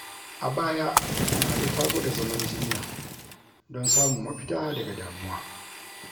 A baya, Nana ta gwada zaman jinya don samun mafita daga damuwa.